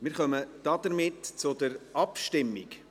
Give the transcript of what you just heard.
Wir kommen damit zur Abstimmung.